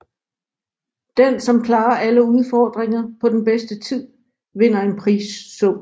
Den som klarer alle udfordringer på den bedste tid vinder en prissum